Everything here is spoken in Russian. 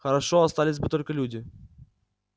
хорошо остались бы только люди